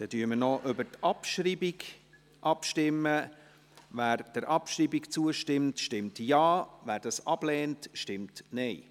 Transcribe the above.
Wer der Abschreibung zustimmt, stimmt Ja, wer diese ablehnt, stimmt Nein.